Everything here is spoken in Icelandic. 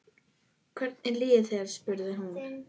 Hvernig líður þér? spurði hún.